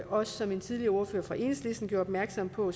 og som en tidligere ordfører fra enhedslisten gjorde opmærksom på